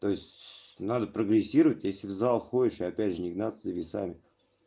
то есть надо прогрессировать если в зал ходишь и опять же не гнаться за весами